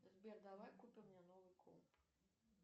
сбер давай купим мне новый комп